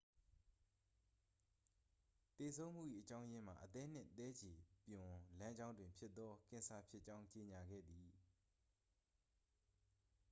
သေဆုံးမှု၏ အကြောင်းရင်းမှာ အသည်းနှင့်သည်းခြေပြွန်လမ်းကြောင်းတွင်ဖြစ်သောကင်ဆာဖြစ်ကြောင်း ကြေညာခဲ့သည်